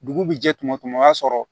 Dugu bi jɛ tuma min o y'a sɔrɔ